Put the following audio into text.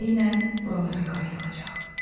Tezliklə buralara qar yağacaq.